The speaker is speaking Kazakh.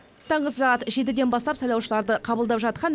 таңғы сағат жетіден бастап сайлаушыларды қабылдап жатқан